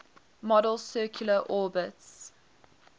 model's circular orbits